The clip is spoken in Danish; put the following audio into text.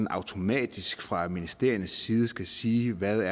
automatisk fra ministeriernes side skal sige hvad